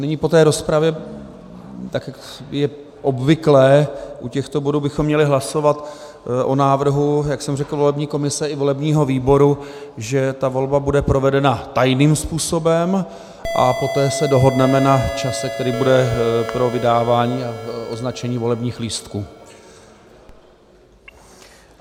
Nyní po té rozpravě, tak jak je obvyklé u těchto bodů, bychom měli hlasovat o návrhu, jak jsem řekl, volební komise i volebního výboru, že ta volba bude provedena tajným způsobem, a poté se dohodneme na čase, který bude pro vydávání a označení volebních lístků.